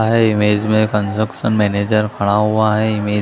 high image में construction manager खड़ा हुआ है इमेज --